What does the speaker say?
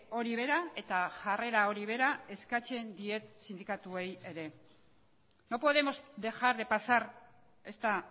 hori bera eta jarrera hori bera eskatzen diet sindikatuei ere no podemos dejar de pasar esta